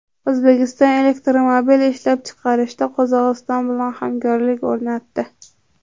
O‘zbekiston elektromobil ishlab chiqarishda Qozog‘iston bilan hamkorlik o‘rnatdi.